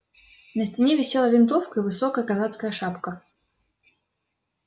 на стене висела винтовка и высокая казацкая шапка